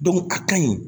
a ka ɲi